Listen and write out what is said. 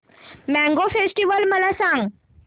mango festival मला सांग